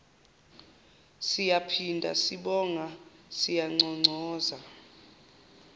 siyaphinda sibonga siyanconcoza